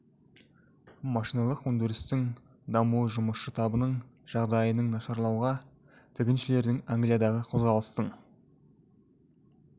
машиналық өндірістің дамуы жұмысшы табының жағдайының нашарлауға тігіншілердің англиядағы қозғалыстың